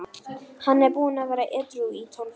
En það breytist ekkert þótt þú borðir ekki, segir mamma.